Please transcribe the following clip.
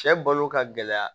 Cɛ balo ka gɛlɛya